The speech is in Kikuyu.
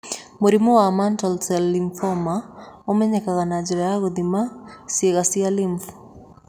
Mũrimũ wa mantle cell lymphoma ũmenyekaga na njĩra ya gũthima ciĩga cia lymph.